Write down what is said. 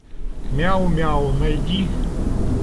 мяу мяу найди